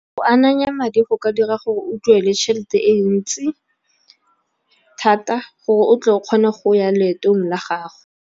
Go ananya madi go ka dira gore o duele tšhelete e ntsi, thata gore o tle o kgone go ya leetong la gago.